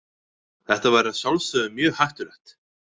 Þetta væri að sjálfsögðu mjög hættulegt.